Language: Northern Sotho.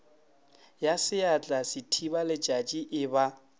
ya seatla sethibaletšatši e ba